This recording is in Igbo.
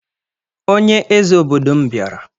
Onye eze obodo m bịara